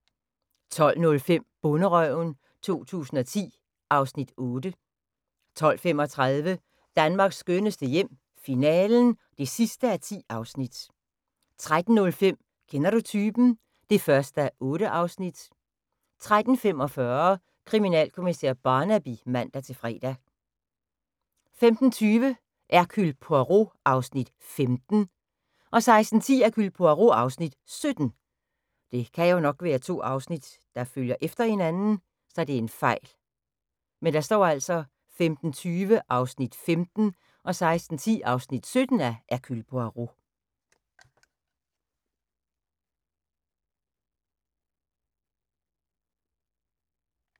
12:05: Bonderøven 2010 (Afs. 8) 12:35: Danmarks skønneste hjem - finalen (10:10) 13:05: Kender du typen? (1:8) 13:45: Kriminalkommissær Barnaby (man-fre) 15:20: Hercule Poirot (Afs. 15) 16:10: Hercule Poirot (Afs. 17) 17:00: Landsbyhospitalet (56:87) 17:50: TV-avisen (man-fre) 18:00: Havestafetten (Afs. 5) 18:30: TV-avisen (man-søn)